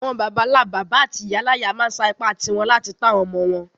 Àwon bàbánlá-bàbá áti ìyáláyá ma n sa ipá ti won láti to àwon ọmọ-ọmọ won